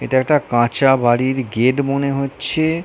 এটা একটা কাঁচা বাড়ির গেট মনে হচ্ছে-এ।